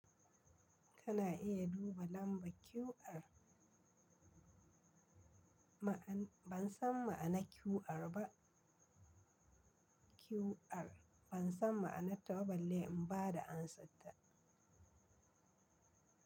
Kana iya duba lamba QR. Ma'anar ban san ma'anar QR ba. QR ban san ma'anar ta balle in ba da amsar ta.